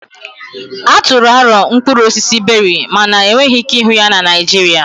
A tụrụ aro mkpụrụ osisi Beri mana enweghị ike ịhụ ya na Naịjirịa